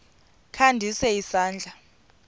kha ndise isandla